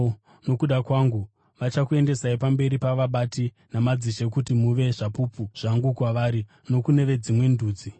Nokuda kwangu, vachakuendesai pamberi pavabati namadzishe kuti muve zvapupu zvangu kwavari nokune veDzimwe Ndudzi.